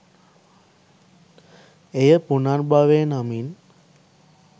එය පුනර්භවය නමින්